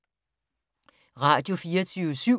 Radio24syv